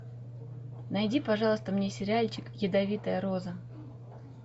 найди пожалуйста мне сериальчик ядовитая роза